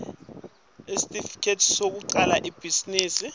sesitifiketi sekucala ibhizinisi